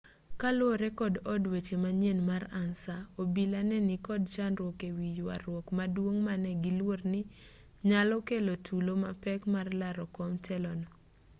kaluwore kod od weche manyien mar ansa obila ne nikod chandruok e wi yuaruok maduong' mane giluor ni nyalo kelo tulo mapek mar laro kom telo no